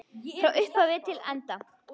Frá upphafi til enda.